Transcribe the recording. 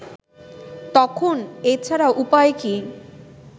তখন এ ছাড়া উপায় কি